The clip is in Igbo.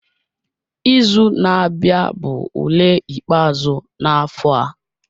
Izu na-abịa bụ ule ikpeazụ na-afọ a